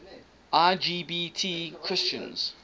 lgbt christians